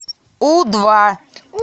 у два